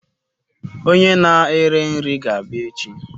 Onye na-eri nri ga-abịa echi